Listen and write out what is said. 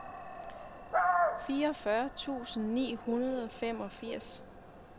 fireogfyrre tusind ni hundrede og femogfirs